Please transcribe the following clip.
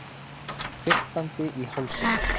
Fiktandi í hálsinum.